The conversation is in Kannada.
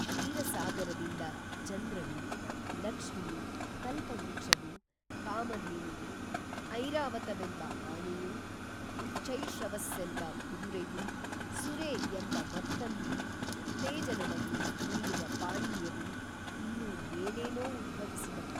ಕ್ಷೀರಸಾಗರದಿಂದ ಚಂದ್ರನೂ, ಲಕ್ಷ್ಮಿಯೂ, ಕಲ್ಪವೃಕ್ಷವೂ, ಕಾಮಧೇನುವೂ, ಐರಾವತವೆಂಬ ಆನೆಯೂ, ಉಚ್ಛೈಶ್ರವಸ್ಸೆಂಬ ಕುದುರೆಯೂ, ಸುರೆ ಎಂಬ ಮತ್ತನ್ನೂ, ಉತ್ತೇಜನವನ್ನೂ, ನೀಡುವ ಪಾನೀಯವೂ, ಇನ್ನೂ ಏನೇನೋ ಉದ್ಭವಿಸಿದುವು